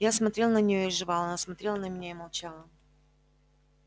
я смотрел на нее и жевал она смотрела на меня и молчала